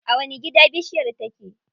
A wani gida bishiyar take?